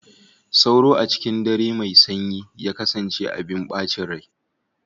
Sauro, a cikin dare mai sanyi, ya kasance abin bacin rai.